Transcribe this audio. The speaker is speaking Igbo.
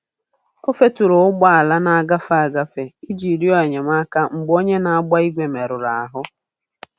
O feturu ụgbọala ndị na-agafe agafe iji rịọ enyemaka mgbe onye na-agba igwe merụrụ ahụ.